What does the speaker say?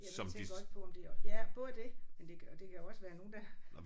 Ja jeg tænkte godt på om det ja både det men det kan det kan jo også være nogen der